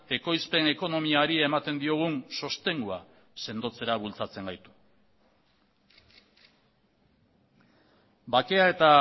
ekoizpen ekonomiari ematen diogun sostengua sendotzera bultzatzen gaitu bakea eta